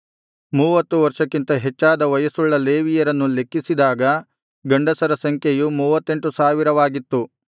ಮೂವತ್ತು ವರ್ಷಕ್ಕಿಂತ ಹೆಚ್ಚಾದ ವಯಸ್ಸುಳ್ಳ ಲೇವಿಯರನ್ನು ಲೆಕ್ಕಿಸಿದಾಗ ಗಂಡಸರ ಸಂಖ್ಯೆಯು ಮೂವತ್ತೆಂಟು ಸಾವಿರವಾಗಿತ್ತು